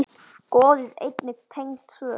Skoðið einnig tengd svör